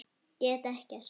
Get ekkert.